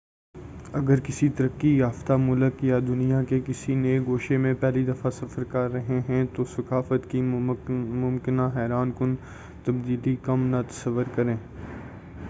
اگر کسی ترقی یافیہ ملک یا دنیا کے کسی نئے گوشے میں پہلی دفعہ سفر کر رہے ہیں تو ثقافت کی ممکنہ حیران کن تبدیلی کم نہ تصور کریں